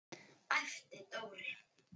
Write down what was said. æpti Dóri.